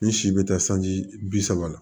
Ni si bɛ taa sanji bi saba la